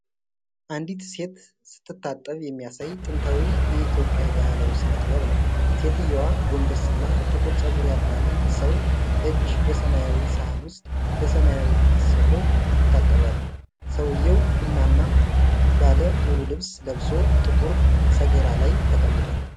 አንዲት ሴት ስትታጠብ የሚያሳይ ጥንታዊ የኢትዮጵያ ባህላዊ ሥነ ጥበብ ነው። ሴትየዋ ጎንበስ ብላ፣ ጥቁር ፀጉር ያላትን ሰው እጅ በሰማያዊ ሳህን ውስጥ በሰማያዊ ማሰሮ ይታባሉ። ሰውዬው ቡናማ ባለ ሙሉ ልብስ ለብሶ ጥቁር ሰገራ ላይ ተቀምጧል።